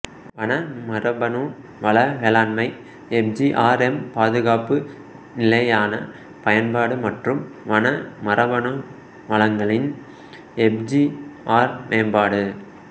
வன மரபணு வள மேலாண்மை எஃப்ஜிஆர்எம் பாதுகாப்பு நிலையான பயன்பாடு மற்றும் வன மரபணு வளங்களின் எஃப்ஜிஆர் மேம்பாடு